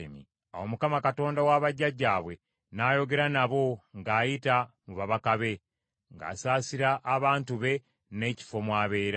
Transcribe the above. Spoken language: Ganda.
Awo Mukama Katonda wa bajjajjaabwe n’ayogera nabo ng’ayita mu babaka be, ng’asaasira abantu be n’ekifo mu abeera.